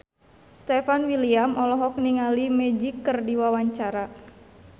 Stefan William olohok ningali Magic keur diwawancara